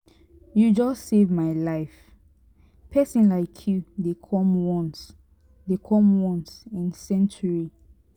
you just save my life pesin like you dey come once dey come once in century.